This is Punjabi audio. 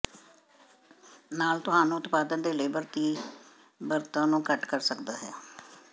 ਨਾਲ ਤੁਹਾਨੂੰ ਉਤਪਾਦਨ ਦੇ ਲੇਬਰ ਤੀਬਰਤਾ ਨੂੰ ਘੱਟ ਕਰ ਸਕਦਾ ਹੈ